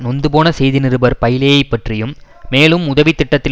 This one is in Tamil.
நொந்துபோன செய்தி நிருபர் பைலேயிப் பற்றியும் மேலும் உதவி திட்டத்தில்